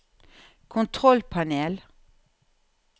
kontrollpanel